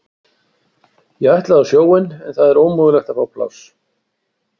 Ég ætlaði á sjóinn en það er ómögulegt að fá pláss.